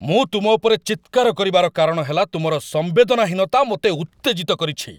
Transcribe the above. ମୁଁ ତୁମ ଉପରେ ଚିତ୍କାର କରିବାର କାରଣ ହେଲା ତୁମର ସମ୍ବେଦନାହୀନତା ମୋତେ ଉତ୍ତେଜିତ କରିଛି।